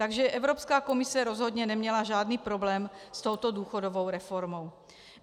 Takže Evropská komise rozhodně neměla žádný problém s touto důchodovou reformou.